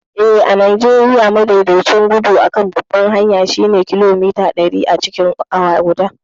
Eh, a Najeriya, madaidaicin gudun kan babbar hanyar shine kilomita ɗari acikin awa guda.